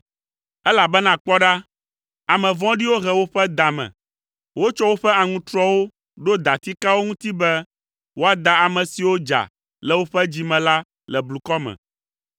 Elabena kpɔ ɖa, ame vɔ̃ɖiwo he woƒe da me; wotsɔ woƒe aŋutrɔwo ɖo datikawo ŋuti be woada ame siwo dza le woƒe dzi me la le blukɔ me.